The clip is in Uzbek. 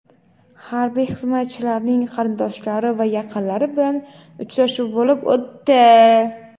harbiy xizmatchilarning qarindoshlari va yaqinlari bilan uchrashuv bo‘lib o‘tdi.